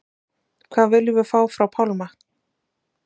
Hvað viljum við fá frá Pálma?